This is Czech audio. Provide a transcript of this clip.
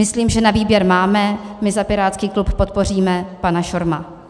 Myslím, že na výběr máme - my za pirátský klub podpoříme pana Schorma.